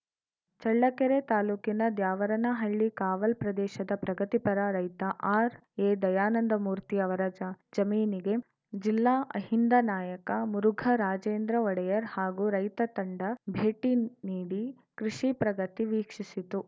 ಚಳ್ಳಕೆರೆ ತಾಲೂಕಿನ ದ್ಯಾವರನಹಳ್ಳಿ ಕಾವಲ್‌ ಪ್ರದೇಶದ ಪ್ರಗತಿಪರ ರೈತ ಆರ್‌ಎದಯಾನಂದಮೂರ್ತಿ ಅವರ ಜ ಜಮೀನಿಗೆ ಜಿಲ್ಲಾ ಅಹಿಂದ ನಾಯಕ ಮುರುಘ ರಾಜೇಂದ್ರ ಒಡೆಯರ್‌ ಹಾಗೂ ರೈತ ತಂಡ ಭೇಟಿ ನೀಡಿ ಕೃಷಿ ಪ್ರಗತಿ ವೀಕ್ಷಿಸಿತು